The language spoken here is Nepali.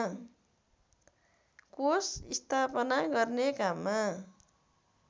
कोष स्थापना गर्ने काममा